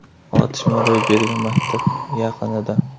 Otishma ro‘y bergan maktab yaqinida.